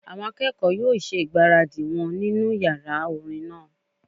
Àwọn akẹ́kọ̀ọ́ yóò yóò ṣe ìgbáradì wọn nínu yàrá orin náà